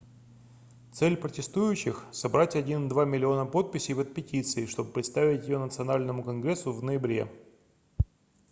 цель протестующих собрать 1,2 миллиона подписей под петицией чтобы представить ее национальному конгрессу в ноябре